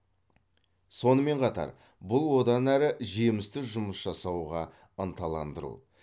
сонымен қатар бұл одан әрі жемісті жұмыс жасауға ынталандыру